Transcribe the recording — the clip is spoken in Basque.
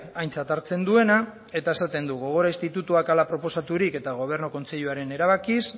aintzat hartzen duena eta esaten du gogora institutuak hala proposaturik eta gobernu kontseiluaren erabakiz